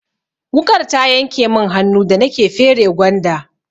Wuƙar ta yanke mun hannu da nake fere gwanda.